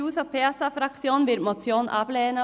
Die SP-JUSO-PSA-Fraktion wird die Motion ablehnen.